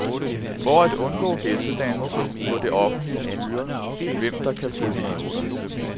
For at undgå ghettodannelse må det offentlige styre, hvem der kan flytte ind.